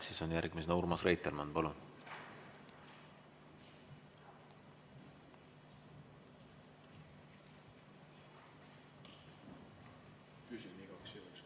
Siis järgmisena Urmas Reitelmann, palun!